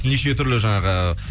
неше түрлі жаңағы